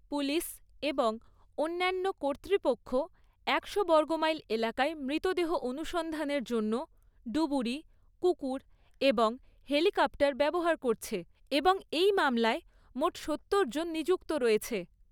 Police এবং অন্যান্য কর্তৃপক্ষ একশো বর্গমাইল এলাকায় মৃতদেহ অনুসন্ধানের জন্য ডুবুরি, কুকুর এবং হেলিকপ্টার ব্যবহার করছে এবং এই মামলায় মোট সত্তর জন নিযুক্ত রয়েছে।